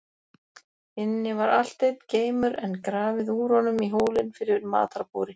Inni var allt einn geimur, en grafið úr honum í hólinn fyrir matarbúri.